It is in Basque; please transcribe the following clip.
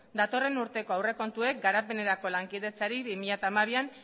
datorren urteko aurrekontuek garapenerako lankidetzari bi mila hamabian